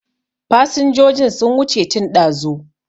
Fasinjojin sun wuce tun ɗazu